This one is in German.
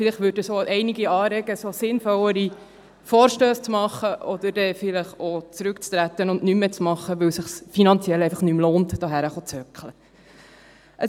Vielleicht würde das auch einige dazu anregen, sinnvollere Vorstösse zu machen oder vielleicht auch zurückzutreten und nichts mehr zu machen, weil es sich finanziell nicht mehr lohnt, hier in diesen Saal zu sitzen.